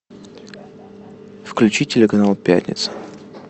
включи телеканал пятница